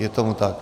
Je tomu tak.